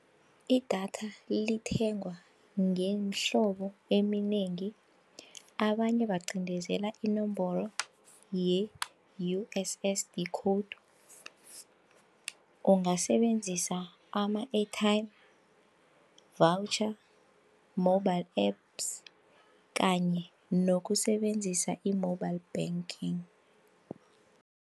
Idatha lithengwa ngemhlobo eminengi, abanye bacindezela inomboro ye-U_S_S_D code, ungasebenzisa ama-airtime voucher, mobile apps kanye nokusebenzisa i-mobile banking.